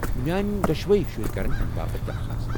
میٲنہِ دۄشوے شُرۍ کرن امہِ باپت درخواست ۔